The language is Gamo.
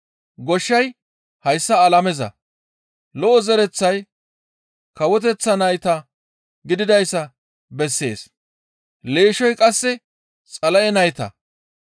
Goshshay hayssa alameza; lo7o zereththay Kawoteththa nayta gididayssa bessees; leeshshoy qasse Xala7e nayta.